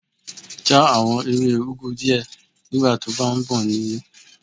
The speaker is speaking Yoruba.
Já àwọn ewé úgu díẹ̀ nígbà to bá ń bọ̀ nílé.